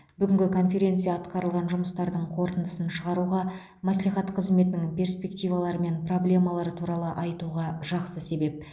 бүгінгі конференция атқарылған жұмыстардың қорытындысын шығаруға мәслихат қызметінің перспективалары мен проблемалары туралы айтуға жақсы себеп